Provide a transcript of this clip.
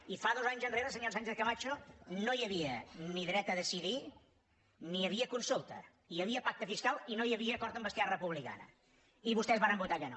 i dos anys enrere senyora sánchez camacho no hi havia ni dret a decidir ni hi havia consulta hi havia pacte fiscal i no hi havia acord amb esquerra republicana i vostès varen votar que no